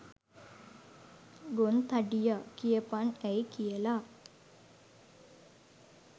ගොන් තඩියා කියපන් ඇයි කියලා